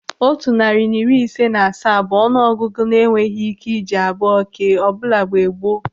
Otu narị na iri ise na asaa bụ ọnụ ọgụgụ a na-enweghị ị́ké iji abụọ kee ọbula mgbe gboo.